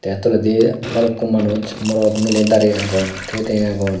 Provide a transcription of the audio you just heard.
te toledi bhalukku manuj morot mile darey agon thiye thiye agon.